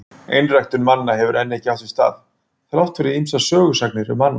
Einræktun manna hefur enn ekki átt sér stað, þrátt fyrir ýmsar sögusagnir um annað.